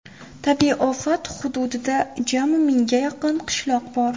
Tabiiy ofat hududida jami mingga yaqin qishloq bor.